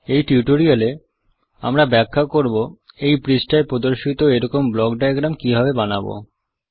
এই টিউটোরিয়াল এ আমরা ব্যাখ্যা করব এই পৃষ্ঠায় প্রদর্শিত এরকম ব্লক ডায়াগ্রাম কিভাবে বানাবো